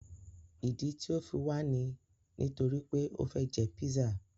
Ìdí tí o fi wà ní nítorí pé o fẹ jẹ pízzà.